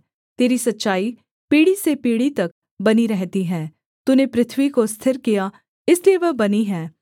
तेरी सच्चाई पीढ़ी से पीढ़ी तक बनी रहती है तूने पृथ्वी को स्थिर किया इसलिए वह बनी है